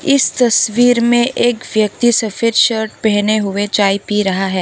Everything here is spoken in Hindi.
इस तस्वीर में एक व्यक्ति सफेद शर्ट पहने हुए चाय पी रहा है।